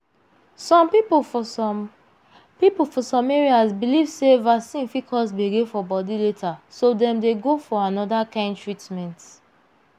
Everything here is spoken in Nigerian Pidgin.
some people for some people for some areas believe sey vaccine fit cause gbege for body later so dem dey go for another kind treatment.